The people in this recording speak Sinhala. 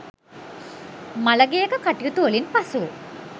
මළගෙයක කටයුතු වලින් පසු